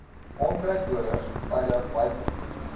onkruiddoders veilig buite